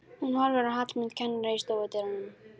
Hún horfir á Hallmund kennara í stofudyrunum.